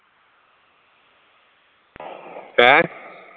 ਹੈ